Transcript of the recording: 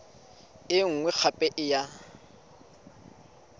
e nngwe gape e ya